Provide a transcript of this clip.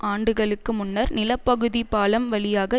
ஆண்டுகளுக்கு முன்னர் நிலப்பகுதி பாலம் வழியாக